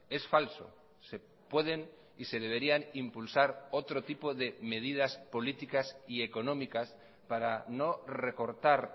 es falso se pueden y se deberían impulsar otro tipo de medidas políticas y económicas para no recortar